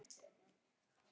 Hrefna tekur undir þetta.